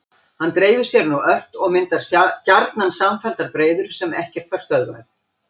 Hann dreifir sér nú ört og myndar gjarnan samfelldar breiður sem ekkert fær stöðvað.